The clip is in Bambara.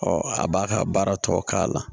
a b'a ka baara tɔ k'a la